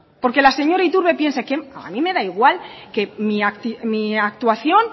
porque la señora iturbe piense a mí me da igual que mi actuación